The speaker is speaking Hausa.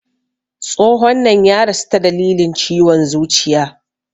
Tsohon nan ya rasu ta dalilin ciwon zuciya